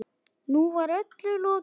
Nú var öllu lokið.